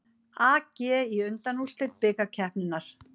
AG í undanúrslit bikarkeppninnar